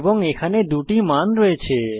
এবং এখানে দুটি মান আছে